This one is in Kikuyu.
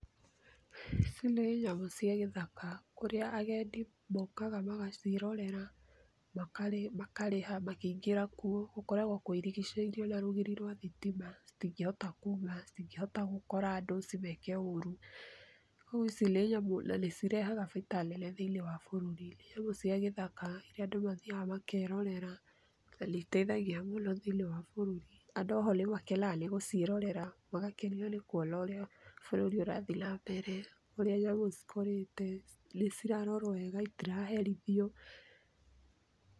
Ici nĩ nyamũ cia gĩthaka kũrĩa agendi mokaga magacirorera makarĩha makĩingĩra kuo gũkoragwo kwĩrigicĩire na rũgiri rwa thitima citingĩhita kuuma, citingĩhota gũkora andũ cimeke ũrũ kwoguo ici nĩ nyamũ cirehaga baita nene thĩiniĩ wa bũrũri. Nyamũ cia gĩthaka irĩa andũ mathiaga makerorera na nĩiteithagia mũno thĩiniĩ wa bũrũri andũ oho nĩmakenaga gũcĩerorera magaũenwa nĩ kũona ũrĩa bũrũri ũrathii na mbere, ũrĩa nyamũ cikũrĩte nĩcirarorwo wega itĩraherithwo .